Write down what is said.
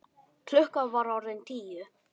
Klukkan var orðin tíu.